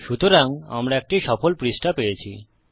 সুতরাং আমরা একটি সফল পৃষ্ঠা পেয়েছি